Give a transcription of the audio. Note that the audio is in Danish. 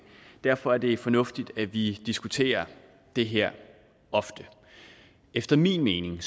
derfor er det fornuftigt at vi diskuterer det her ofte efter min mening